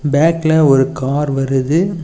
பேக்ல ஒரு கார் வருது.